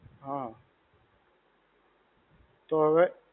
હા. તો હવે?